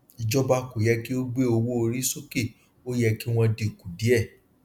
ìjọba kò yẹ kí ó gbé owóorí sókè ó yẹ kí wọn dínkù díẹ